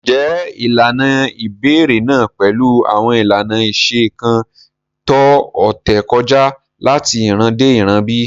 Ǹjẹ́ ilànà ibèrè náà pẹ̀lú awọn ilànà ìṣẹ̀ kan tó ọ̀tẹ̀ kọja lati ìràn dé ìràn bí?